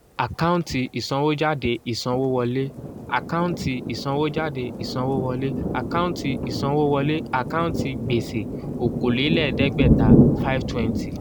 àkáǹtì ìsanwójáde ìsanwówọlé àkáǹtì ìsanwójáde ìsanwówọlé àkáǹtì ìsanwówọlé àkáǹtì gbèsè okòólélẹ́ẹ̀dẹ́gbẹ̀ta five twenty